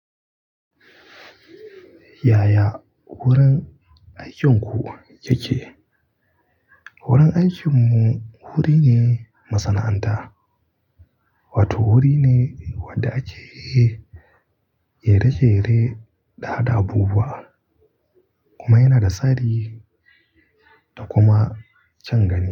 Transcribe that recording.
Yaya wurin aikin ku yake? Wurin aikinmu wuri ne masana'anta, wato wuri ne wadda ake jere jere hada abubuwa kuma yana da tsari da kuma kyan gani.